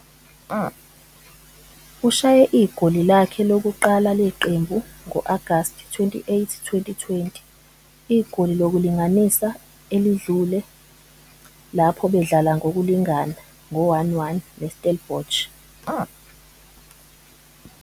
Ushaye igoli lakhe lokuqala leqembu ngo-Agasti 28 2020- igoli lokulinganisa elidlule lapho bedlala ngokulingana ngo-1-1 neStellenbosch.